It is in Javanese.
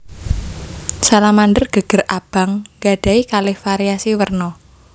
Salamander geger abang nggadhahi kalih variasi werna